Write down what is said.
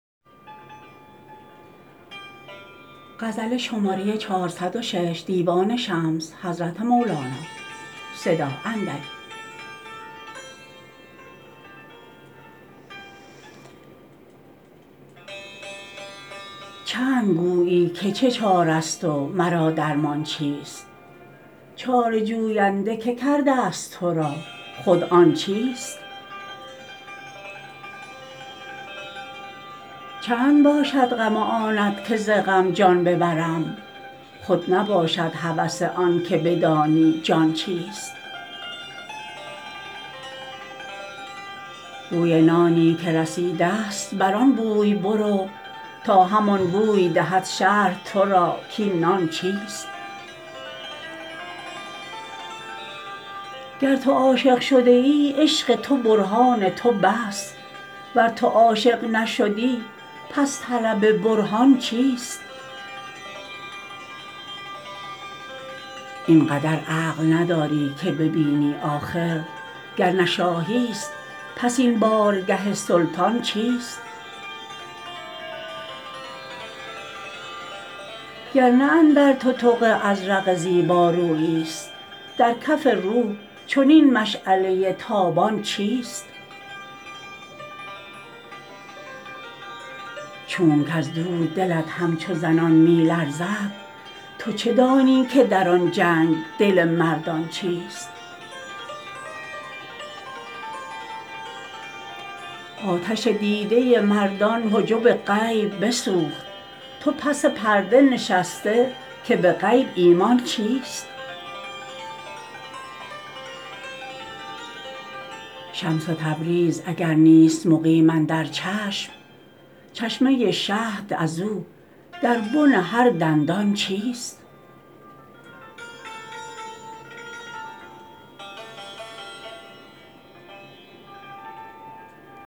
چند گویی که چه چاره ست و مرا درمان چیست چاره جوینده که کرده ست تو را خود آن چیست چند باشد غم آنت که ز غم جان ببرم خود نباشد هوس آنک بدانی جان چیست بوی نانی که رسیده ست بر آن بوی برو تا همان بوی دهد شرح تو را کاین نان چیست گر تو عاشق شده ای عشق تو برهان تو بس ور تو عاشق نشدی پس طلب برهان چیست این قدر عقل نداری که ببینی آخر گر نه شاهی ست پس این بارگه سلطان چیست گر نه اندر تتق ازرق زیبارویی ست در کف روح چنین مشعله ی تابان چیست چونک از دور دلت همچو زنان می لرزد تو چه دانی که در آن جنگ دل مردان چیست آتش دیده ی مردان حجب غیب بسوخت تو پس پرده نشسته که به غیب ایمان چیست شمس تبریز اگر نیست مقیم اندر چشم چشمه ی شهد از او در بن هر دندان چیست